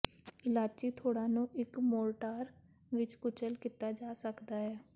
ਇਲਆਚੀ ਥੋੜ੍ਹਾ ਨੂੰ ਇੱਕ ਮੋਰਟਾਰ ਵਿੱਚ ਕੁਚਲ ਕੀਤਾ ਜਾ ਸਕਦਾ ਹੈ